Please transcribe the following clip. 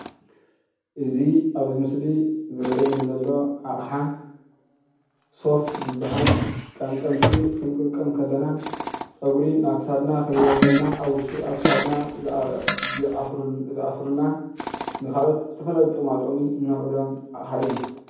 እዚ ኣብዚ ምስሊ ዝረአየኒ ዘሎ ኣቕሓ ሶፍት ዝበሃል ቀምቀምቲ ክንቅምቀም ከለና ፀጉሪ ናብ ክሳድና ከይወርደና ኣብ ውሽጢ ክሳድና ዝኣስሩልና ንኻልኦት ዝተፈላለዩ ጥቕማጥቕሚ ነውዕሎን ኣቕሓ እዩ፡፡